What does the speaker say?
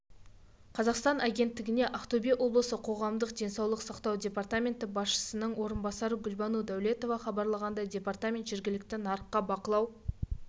қазақстанагенттігіне ақтөбе облысы қоғамдық денсаулық сақтау департаменті басшысының орынбасары гүлбану дәулетова хабарлағандай департамент жергілікті нарыққа бақылау